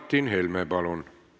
Martin Helme, palun!